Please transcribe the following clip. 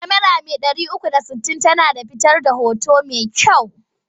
Kyamara mai 360 tana fitar da hoto mai kyau.